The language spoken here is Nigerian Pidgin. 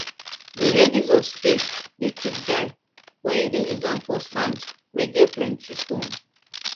the edges of spade dey quick die wen you dey use am for sand wen get plenty stone